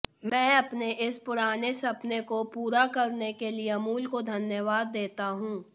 मै अपने इस पुराने सपने को पूरा करने के लिए अमूल को धन्यवाद देता हूं